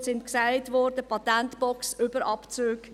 Die Stichworte wurden erwähnt: Patentbox, Überabzüge.